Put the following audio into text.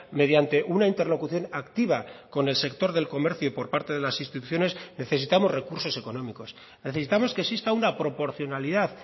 mediante una interlocución activa con el sector del comercio y por parte de las instituciones necesitamos recursos económicos necesitamos que exista una proporcionalidad